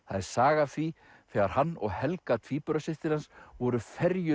það er saga af því þegar hann og Helga tvíburasystir hans voru